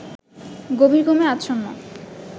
গভীর ঘুমে আচ্ছন্ন